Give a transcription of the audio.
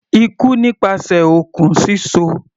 Ikú nípasẹ̀ okùn síso.